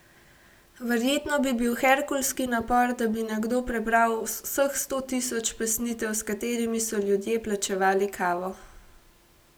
Verjetno bi bil herkulski napor, da bi nekdo prebral vseh sto tisoč pesnitev, s katerimi so ljudje plačevali kavo.